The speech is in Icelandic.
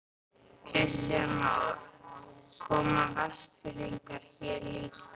Kristján Már: Koma Vestfirðingar hér líka?